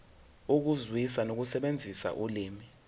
ukuzwisisa nokusebenzisa ulimi